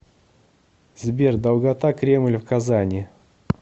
сбер долгота кремль в казани